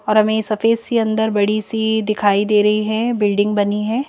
और हमें सफेद सी अंदर बड़ी सी दिखाई दे रही है बिल्डिंग बनी है।